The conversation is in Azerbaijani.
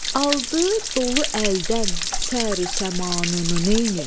Aldı dolu əldən səru səmanını neynim?